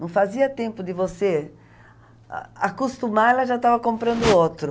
Não fazia tempo de você acostumar, ela já estava comprando outro.